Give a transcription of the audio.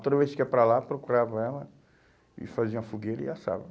Toda vez que ia para lá, procurava ela e fazia uma fogueira e assava.